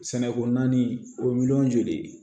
Sɛnɛko naani o miliyɔn joli ye